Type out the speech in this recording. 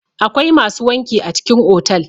akwai masu wanki a cikin otal